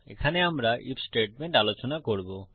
এখানে আমরা if statement আলোচনা করব